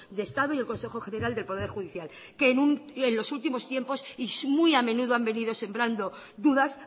de estado y el consejo general del poder judicial que en los últimos tiempos y muy a menudo han venido sembrando dudas